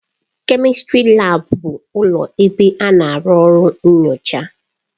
Kèmistrị laabu bụ ụlọ ebe a na-arụ ọrụ nnyocha.